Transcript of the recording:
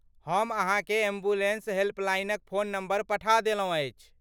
हम अहाँकेँ एम्बुलेन्स हेल्पलाइनक फोन नंबर पठा देलहुँ अछि।